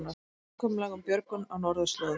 Samkomulag um björgun á norðurslóðum